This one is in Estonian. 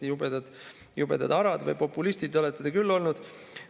Nii et jubedalt arad või populistid olete te küll olnud.